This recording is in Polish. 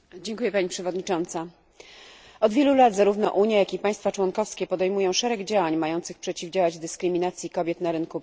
Od wielu lat zarówno Unia, jak i państwa członkowskie podejmują szereg działań mających przeciwdziałać dyskryminacji kobiet na rynku pracy.